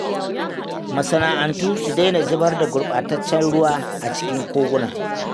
Masana’antu su daina zubar da gurbataccen ruwa a cikin koguna.